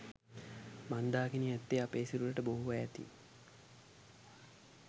මන්දාකිණි ඇත්තේ අපේ සිරුරට බොහෝ ඈතින්